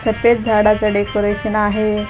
सफेद झाडाचं डेकोरेशन आहे गुलाबी --